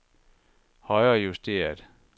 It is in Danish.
højrejusteret